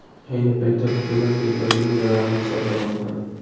Ayni paytda hukumat keltirilgan zararni hisoblamoqda.